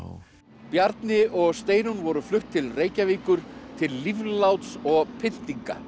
Bjarni og Steinunn voru flutt til Reykjavíkur til lífláts og pyntinga